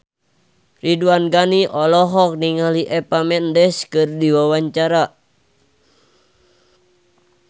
Ridwan Ghani olohok ningali Eva Mendes keur diwawancara